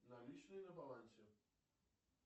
наличные на балансе